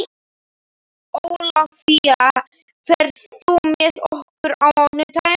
Ólafía, ferð þú með okkur á mánudaginn?